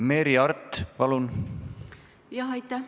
Merry Aart, palun!